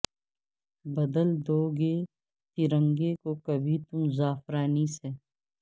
بدل دو گے ترنگے کو کبھی تم زعفرانی سے